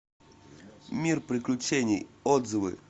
мир приключений отзывы